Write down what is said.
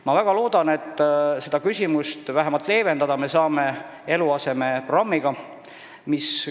Ma väga loodan, et me saame seda küsimust vähemalt leevendada eluasemeprogrammiga.